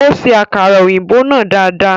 Ó ṣe akara òyìnbó náà dada.